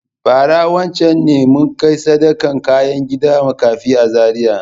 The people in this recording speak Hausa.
Bara wancan ne mun kai sadakan kaya gida makafi a Zariya.